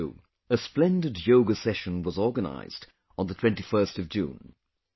Here too, a splendid Yoga Session was organized on the 21st of June